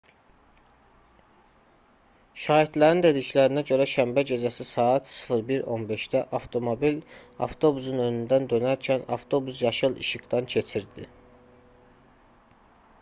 şahidlərin dediklərinə görə şənbə gecəsi saat 01:15-də avtomobil avtobusun önündən dönərkən avtobus yaşıl işıqdan keçirdi